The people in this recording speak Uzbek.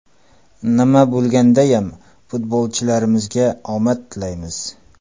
Nima bo‘lgandayam futbolchilarimizga omad tilaymiz!